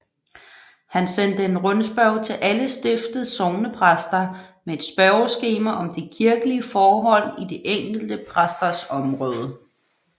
Han sendte en rundspørge til alle stiftets sognepræster med et spørgeskema om de kirkelige forhold i de enkelte præsters område